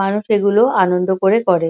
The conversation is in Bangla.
মানুষ সেগুলো আনন্দ করে করে।